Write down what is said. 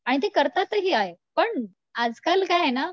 आणि ते करतात ही आहे, पण आजकाल काये ना